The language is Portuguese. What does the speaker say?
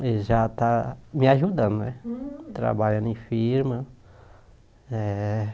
Eles já estão me ajudando, trabalhando em firma. É